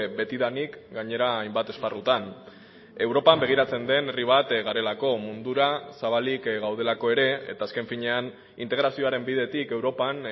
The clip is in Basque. betidanik gainera hainbat esparrutan europan begiratzen den herri bat garelako mundura zabalik gaudelako ere eta azken finean integrazioaren bidetik europan